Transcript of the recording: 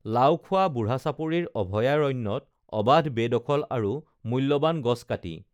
লাওখোৱা বুঢ়াচাপৰি অভয়াৰণ্যত অবাধ বেদখল আৰু মূল্যবান গছ কাটি